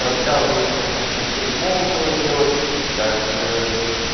рассказывают как там коктейли молотова делать как